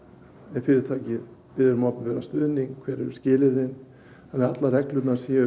ef fyrirtæki biður um opinberan stuðning hver eru skilyrðin þannig að allar reglurnar séu